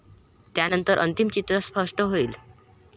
त्यानंतर अंतिम चित्र स्पष्ट हाईल.